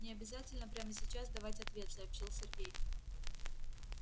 не обязательно прямо сейчас давать ответ сообщил сергей